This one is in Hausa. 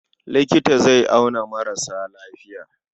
Likita zai auna maras lafiya.